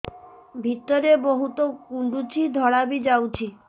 ଭିତରେ ବହୁତ କୁଣ୍ଡୁଚି ଧଳା ବି ଯାଉଛି